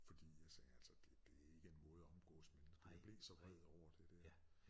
Forid jeg sagde altså det det ikke en måde at omgås mennesker jeg blev så vred over det dér